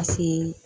Paseke